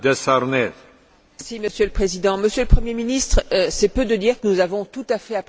Monsieur le Président, Monsieur le Premier ministre, c'est peu de dire que nous avons tout à fait apprécié votre discours.